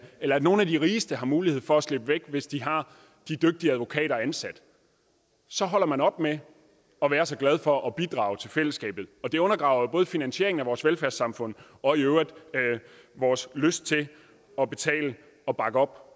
eller at nogle af de rigeste har mulighed for at slippe hvis de har de dygtige advokater ansat så holder man op med at være så glad for at bidrage til fællesskabet og det undergraver jo både finansieringen af vores velfærdssamfund og i øvrigt vores lyst til at betale og bakke op